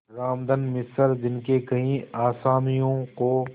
रामधन मिश्र जिनके कई असामियों को